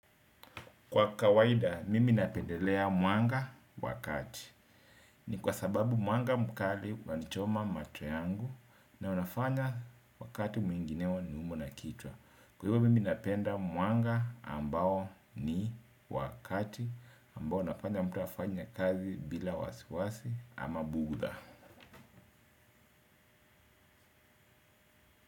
Kwa kawaida, mimi napendelea mwanga wa kati. Ni kwa sababu mwanga mkali wanichoma macho yangu na unafanya wakati mwingineo niumwe na kichwa. Kwa hivo, mimi napenda mwanga ambao ni wa kati ambao unafanya mtu afanya kazi bila wasiwasi ama bugdha.